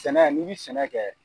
Sɛnɛ n'i bɛ sɛnɛ kɛ